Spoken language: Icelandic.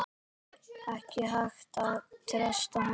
Ekki hægt að treysta honum.